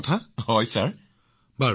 আচ্ছা সুন্দৰ মনজুৰ জী চাওক